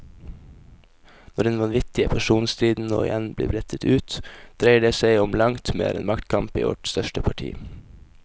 Når den vanvittige personstriden nå igjen blir brettet ut, dreier det som om langt mer enn maktkamp i vårt største parti.